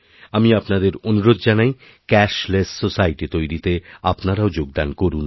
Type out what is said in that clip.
আমি আপনাদের অনুরোধ জানাইক্যাশলেস সোসাইটি তৈরিতে আপনারাও যোগদান করুন